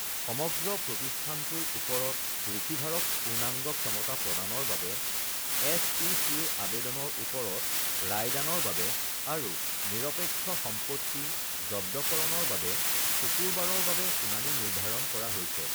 সমগ্ৰ প্ৰতিষ্ঠানটোৰ ওপৰত ৰিচিভাৰক পূৰ্ণাংগ ক্ষমতা প্ৰদানৰ বাবে এছ.ই.চি.-ৰ আবেদনৰ ওপৰত ৰায়দানৰ বাবে আৰু নিৰপেক্ষ সম্পত্তি জব্দকৰণৰ বাবে শুকুৰবাৰৰ বাবে শুনানি নিৰ্ধাৰণ কৰা হৈছে৷